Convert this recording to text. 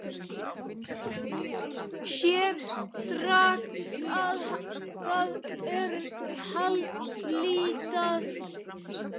Sér strax að það er haldlítil afsökun.